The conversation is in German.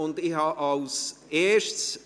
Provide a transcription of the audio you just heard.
Ich habe als Erstes …